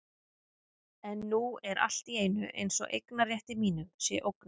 En nú er allt í einu eins og eignarrétti mínum sé ógnað.